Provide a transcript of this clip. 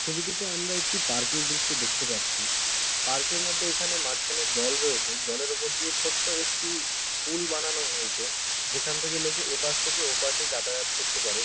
ছবিটিতে আমরা একটি পার্ক এর দৃশ্য দেখতে পাচ্ছি। পার্ক এর মধ্যে এখানে মাঝখানে জল রয়েছে। জলের মধ্যে দিয়ে ছোট একটি পুল বানানো হয়েছে যেখান থেকে লোকে এপাশ থেকে ওপাশে যাতায়াত করতে পারে।